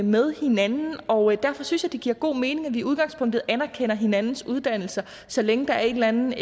med hinanden og derfor synes jeg det giver god mening at vi i udgangspunktet anerkender hinandens uddannelser så længe der er en eller anden